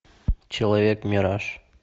человек мираж